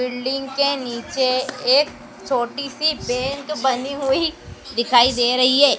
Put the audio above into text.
Building के नीचे एक छोटी सी बैंक बनी हुई दिखाई दे रही हैं।